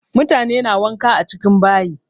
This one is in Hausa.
Mutane na wanka a cikin bayi.